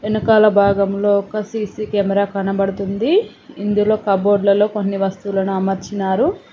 వెనకాల భాగం లో ఒక సీసీ కెమెరా కనబడుతుంది ఇందులో కబోర్డులలో కొన్ని వస్తువులను అమర్చినారు --